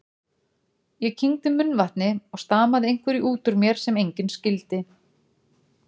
Ég kyngdi munnvatni og stamaði einhverju útúr mér sem enginn skildi.